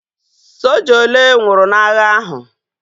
Soja ole nwụrụ n'agha ahu?